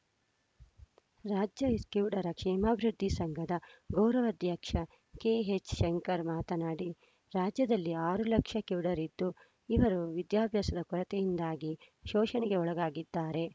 ರಾಜ್ಯ ಕಿವುಡರ ಕ್ಷೇಮಾಭಿವೃದ್ಧಿ ಸಂಘದ ಗೌರವಾಧ್ಯಕ್ಷ ಕೆಎಚ್‌ಶಂಕರ್‌ ಮಾತನಾಡಿ ರಾಜ್ಯದಲ್ಲಿ ಆರು ಲಕ್ಷ ಕಿವುಡರಿದ್ದು ಇವರು ವಿದ್ಯಾಭ್ಯಾಸದ ಕೊರತೆಯಿಂದಾಗಿ ಶೋಷಣೆಗೆ ಒಳಗಾಗಿದ್ದಾರೆ